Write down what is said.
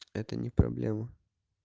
это не проблема